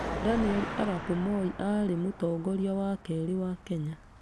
Daniel arap Moi aarĩ Mũtongoria wa kerĩ wa Kenya.